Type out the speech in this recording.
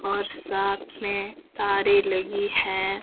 और साथ में तारे लगी है।